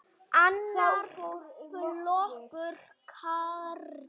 Annar flokkur karla.